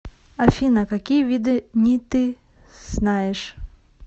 афина какие виды ни ты знаешь